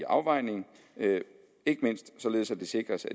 afvejning ikke mindst således at det sikres